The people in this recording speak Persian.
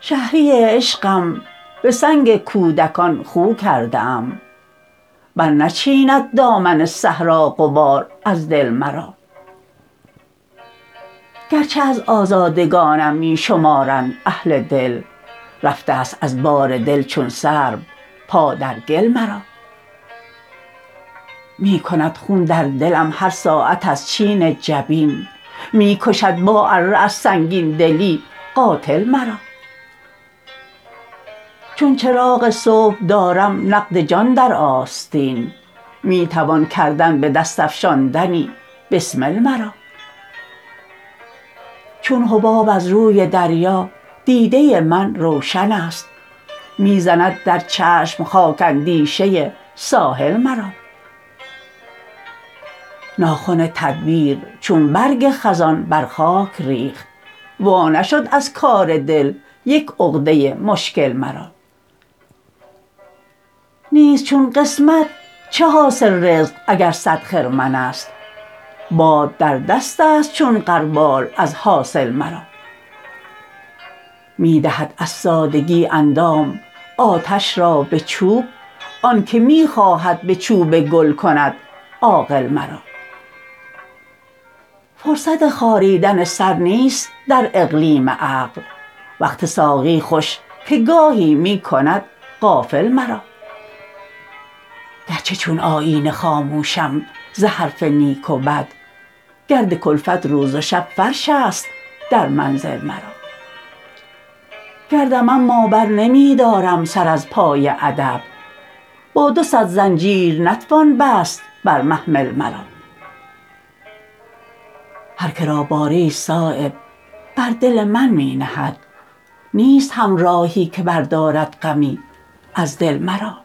شهری عشقم به سنگ کودکان خو کرده ام برنچیند دامن صحرا غبار از دل مرا گرچه از آزادگانم می شمارند اهل دید رفته است از بار دل چون سرو پا در گل مرا می کند خون در دلم هر ساعت از چین جبین می کشد با اره از سنگین دلی قاتل مرا چون چراغ صبح دارم نقد جان در آستین می توان کردن به دست افشاندنی بسمل مرا چون حباب از روی دریا دیده من روشن است می زند در چشم خاک اندیشه ساحل مرا ناخن تدبیر چون برگ خزان بر خاک ریخت وا نشد از کار دل یک عقده مشکل مرا نیست چون قسمت چه حاصل رزق اگر صد خرمن است باد در دست است چون غربال از حاصل مرا می دهد از سادگی اندام آتش را به چوب آن که می خواهد به چوب گل کند عاقل مرا فرصت خاریدن سر نیست در اقلیم عقل وقت ساقی خوش که گاهی می کند غافل مرا گرچه چون آیینه خاموشم ز حرف نیک و بد گرد کلفت روز و شب فرش است در منزل مرا گردم اما برنمی دارم سر از پای ادب با دو صد زنجیر نتوان بست بر محمل مرا هر که را باری است صایب بر دل من می نهد نیست همراهی که بردارد غمی از دل مرا